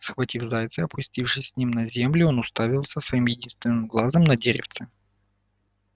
схватив зайца и опустившись с ним на землю он уставился своим единственным глазом на деревце